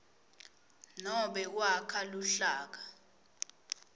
nobe kwakha luhlaka